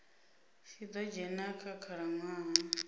tshi ḓo dzhena kha khalaṅwaha